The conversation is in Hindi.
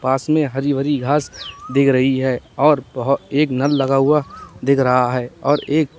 पास में हरी भरी घास दिख रही है और बहो एक नल लगा हुआ दिख रहा है और एक--